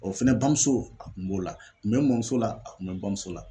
O fɛnɛ bamuso a kun b'o la, kun bɛ n mamuso la, a kun bɛ n bamuso la.